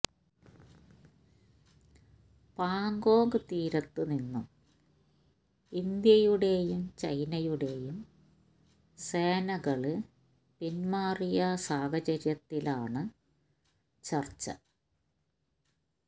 പാഗോംഗ് തീരത്ത് നിന്നും ഇന്ത്യയുടെയും ചൈനയുടെയും സേനകള് പിന്മാറിയ സാഹചര്യത്തിലാണ് ചര്ച്ച